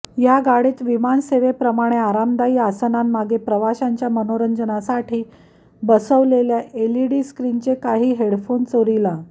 या गाडीत विमानसेवेप्रमाणे आरामदायी आसनांमागे प्रवाशांच्या मनोरंजनासाठी बसविलेल्या एलईडी स्क्रीनचे काही हेडफोन चोरीला